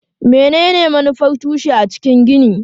Menene manufar tushe a cikin gini?